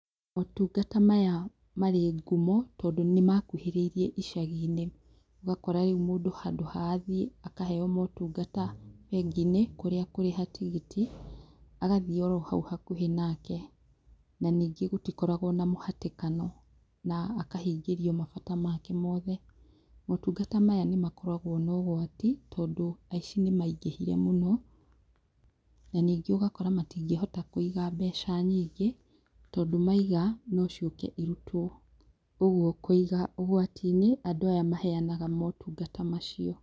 Motungata maya marĩ ngumo tondũ nĩ makuhĩrĩirie icagi-inĩ, ũgakora rĩu mũndũ handũ ha athiĩ akaheo motungata bengi-inĩ, kũrĩa akũrĩha tigiti, agathiĩ o ro hau hakuhĩ nake, na ningĩ gũtikoragwo na mũhatĩkano na akahingĩrio mabata make mothe. Motungata maya nĩ makoragwo na ũgwati tondũ aici nĩ maingĩhire mũno, na ningĩ ũgakora matingĩhota kũiga mbeca nyingĩ, tondũ maiga, no ciũke irutwo, koguo kũiga ũgwati-inĩ andũ aya maheanaga motungata macio.